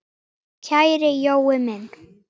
Kæri Jói minn.